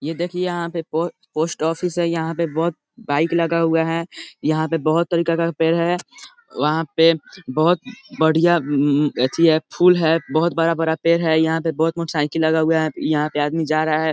ये देखिये यहां पे पो-पोस्ट ऑफिस है यहां पे बहुत बाइक लगा हुआ है यहां पे बहुत तरीके का पेड़ है वहां पे बहुत बढ़िया ए अथी है फूल है बहुत बड़ा-बड़ा पेड़ है यहां पे बहुत मोटरसाइकिल लगा हुआ है यहां पे आदमी जा रहा है।